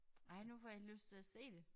Ej nu får jeg helt lyst til at se det